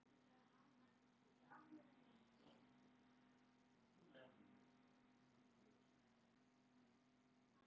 Þó er töluvert um einkaskóla sem krefja nemendur um skólagjöld.